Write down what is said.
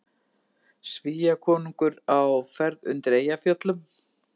Svíakonungur á ferð undir Eyjafjöllum